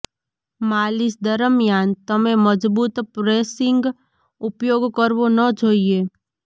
માલિશ દરમિયાન તમે મજબૂત પ્રેસિંગ ઉપયોગ કરવો ન જોઈએ